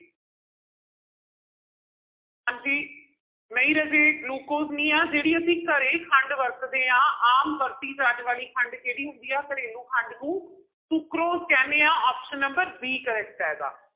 ਹਾਂਜੀ ਨਹੀਂ ਰਾਜੇ ਗਲੂਕੋਜ ਨਹੀਂ ਆਂ ਜਿਹੜੀ ਅਸੀਂ ਘਰੇ ਖੰਡ ਵਰਤਦੇ ਹਾਂ, ਆਮ ਵਰਤੀ ਜਾਣ ਵਾਲੀ ਖੰਡ ਕਿਹੜੀ ਹੁੰਦੀ ਆ, ਘਰੇਲੂ ਖੰਡ ਨੂੰ ਸੁਕਰੋਜ ਕਹਿੰਦੇ ਹਾਂ option number b correct ਹੈਗਾ।